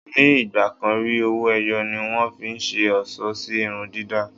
Ní ì̀gbàkan rí, owó-ẹyọ ni wọ́n fi ń ṣe ọlṣọ́ sí irun dàda.